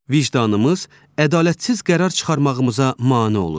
Vicdanımız ədalətsiz qərar çıxarmağımıza mane olur.